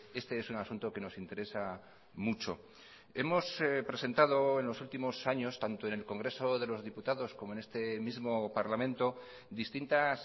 éeste es un asunto que nos interesa mucho hemos presentado en los últimos años tanto en el congreso de los diputados como en este mismo parlamento distintas